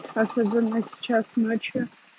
особенно сейчас ночью